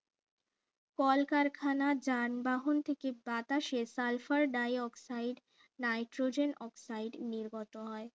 কলকারখানা যানবাহন থেকে বাতাসে sulphur dioxide nitrogen oxide নির্গত হয়